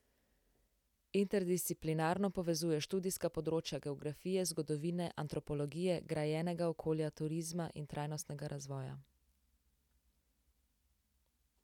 Interdisciplinarno povezuje študijska področja geografije, zgodovine, antropologije, grajenega okolja, turizma in trajnostnega razvoja.